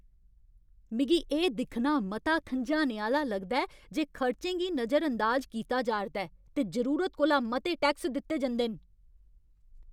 मिगी एह् दिक्खना मता खंझाने आह्‌ला लगदा ऐ जे खर्चें गी नजरअंदाज कीता जा'रदा ऐ ते जरूरत कोला मते टैक्स दित्ते जंदे न।